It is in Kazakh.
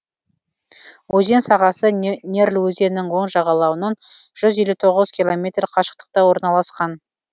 өзен сағасы нерль өзенінің оң жағалауынан жүз елу тоғыз километр қашықтықта орналасқан